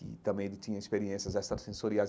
que também ele tinha experiências extracensoriais.